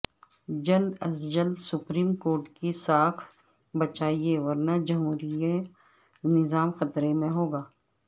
جلد از جلد سپریم کورٹ کی ساکھ بچائیے ورنہ جمہوری نظام خطرے میں ہوگا